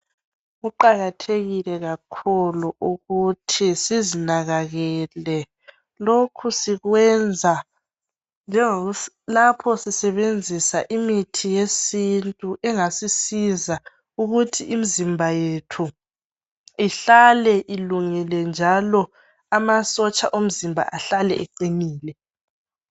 Kuqakathekile kakhulu ukuthi sizinakakele, lokhu sikwenza lapho sisebenzisa imithi yesintu engasisiza ukuthi imzimba yethu ihlale ilungile njalo amasotsha omzimba ahlale eqinile.